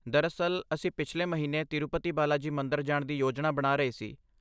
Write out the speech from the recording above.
ਦਰਅਸਲ, ਅਸੀਂ ਪਿਛਲੇ ਮਹੀਨੇ ਤਿਰੂਪਤੀ ਬਾਲਾਜੀ ਮੰਦਰ ਜਾਣ ਦੀ ਯੋਜਨਾ ਬਣਾ ਰਹੇ ਸੀ।